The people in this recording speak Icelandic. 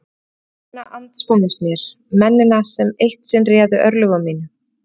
Ég horfi á mennina andspænis mér, mennina sem eitt sinn réðu örlögum mínum.